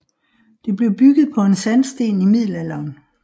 Det blev bygget på en sandsten i Middelalderen